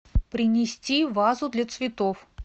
принести вазу для цветов